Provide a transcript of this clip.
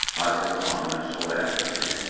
hadisə zamanı sol ayağını itirib.